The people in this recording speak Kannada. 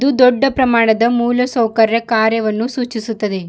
ದೊಡ್ಡ ಪ್ರಮಾಣದ ಮೂಲ ಸೌಕರ್ಯ ಕಾರ್ಯವನ್ನು ಸೂಚಿಸುತ್ತದೆ.